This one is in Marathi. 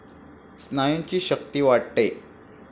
स्नायूंची शक्ती वाढते.